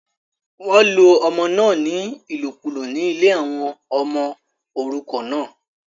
wọ́n lo ọmọ náà ní ìlòkùlò ní ilé àwọn ọmọ òrukàn náà